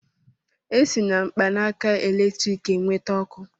E si na mkpanaka eletriki e nweta ọkụ.